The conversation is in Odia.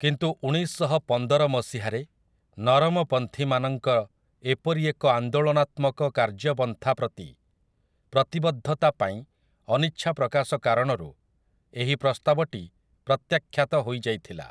କିନ୍ତୁ ଉଣେଇଶଶହପନ୍ଦର ମସିହାରେ ନରମପନ୍ଥୀମାନଙ୍କ ଏପରି ଏକ ଆନ୍ଦୋଳନାତ୍ମକ କାର୍ଯ୍ୟପନ୍ଥାପ୍ରତି ପ୍ରତିବଦ୍ଧତା ପାଇଁ ଅନିଚ୍ଛାପ୍ରକାଶକାରଣରୁ ଏହି ପ୍ରସ୍ତାବଟି ପ୍ରତ୍ୟାଖ୍ୟାତ ହୋଇଯାଇଥିଲା ।